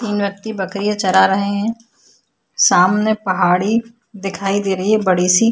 तीन व्यक्ति बकरीया चरा रहै हैं सामने पहाड़ी दिखाई दे रही हैं बड़ी सी--